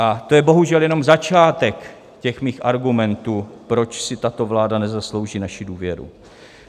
A to je bohužel jenom začátek těch mých argumentů, proč si tato vláda nezaslouží naši důvěru.